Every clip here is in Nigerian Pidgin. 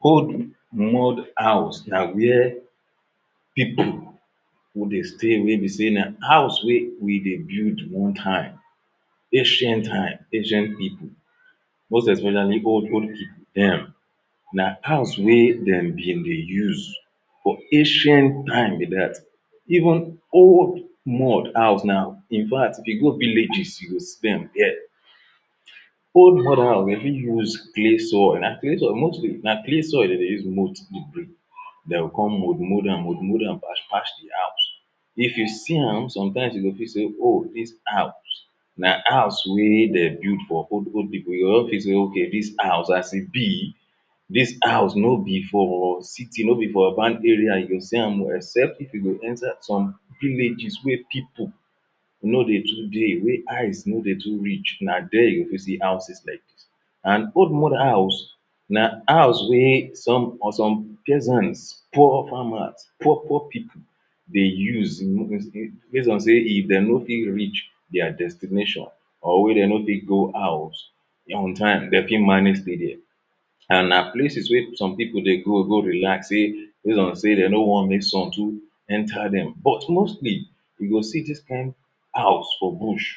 old mud house na where people go dey stay wey be sey na house wey dey build old time ancient time, ancient people most especially old, old people dem na house wey dem be dey use for ancient time be dat even old mud house now infact, you go villages you go see dem dia old mud house dem fit give you clay soil, na clay soil mostly na clay soil de dey use mud de o come mud-mud dam mud-mud dam splash-splash de house if you see am sometimes you go fit sey oh! this house na house wey dey build for old-old people you go fit sey ok dis house as e be dis house no be for city no be for urban area you go see am except if you enter some villages wey people no be today wey eyes no dey to reach na dia you go see houses dia and old mud house na house wey for some, for some peasant poor farmers poor-poor people dey use.? base on sey if dey no fit reach dia destination or wey de no fit go house on time de fit manage stay dia and na places wey some people dey go go relax sey base on sey dey no wan make sun too enter dem but mostly you go see dis kind house for bush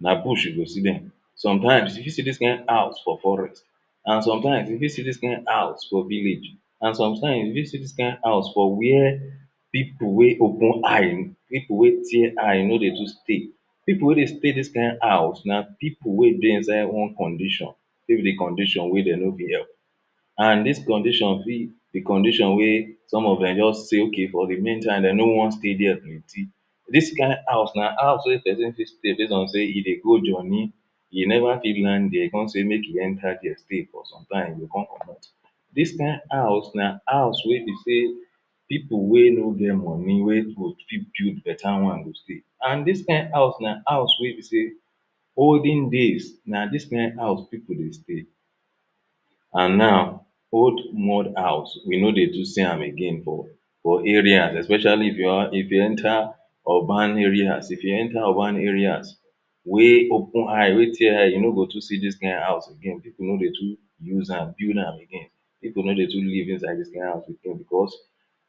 na bush you go see dem sometime if you fit see dis kind house for forest and sometimes you fit see dis kind house for village and sometimesyou fit see dis kind house for where people wey open eye people wey tear eye no dey too stay people wey dey stay dis kind house na people wey dey inside one condition may be the condition wey de no fit help and dis condition be the condition wey some of dem just sink in for the main time dey no wan stay dia? dis kind house na house wey de dey take dey stay base on sey you dey go journey you never fit land dia you come sey make you enter dia stay for sometime you come comot dis kind house na house wey be sey people wey no get money wey go fit build better one today and dis kind house na house wey be sey olden days na dis kind house people still dey and now old mud house we no dey too see am again for area especially if you enter urban areas if you enter urban areas wey open eye wey tear eye you no go too see dis kind house again people no dey too use am again people no dey too live inside the kind house because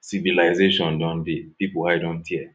civilization don dey, people eye don tear